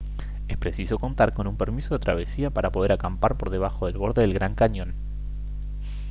es preciso contar con un permiso de travesía para poder acampar por debajo del borde del gran cañón